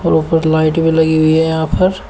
और ऊपर लाइट भी लगी हुई है यहां पर।